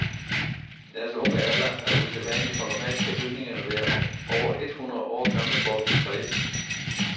Deres unge alder er usædvanlig, for normalt skal bygninger være over et hundrede år gamle for at kunne blive fredet.